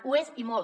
ho és i molt